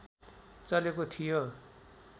चलेको थियो